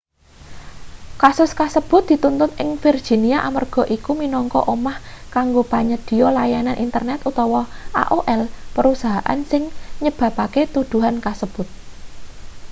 kasus kasebut dituntut ing virginia amarga iku minangka omah kanggo panyedhiya layanan internet utama aol perusahaan sing nyebabake tuduhan kasebut